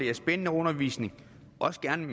er spændende undervisning også gerne